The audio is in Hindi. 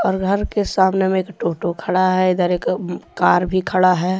और घर के सामने में एक टोटो खड़ा है इधर एक कार भी खड़ा है।